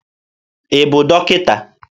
Ị bụ dọkịta?